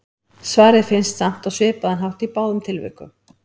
Svarið finnst samt á svipaðan hátt í báðum tilvikum.